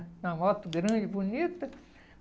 Uma moto grande, bonita.